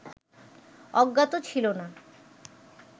অজ্ঞাত ছিল না